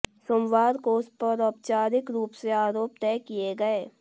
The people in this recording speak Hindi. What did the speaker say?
सोमवार को उस पर औपचारिक रूप से आरोप तय किए गए